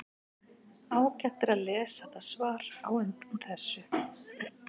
Ágætt er að lesa það svar á undan þessu.